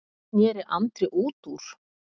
sneri Andri út úr.